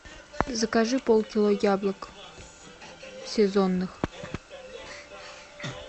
закажи полкило яблок сезонных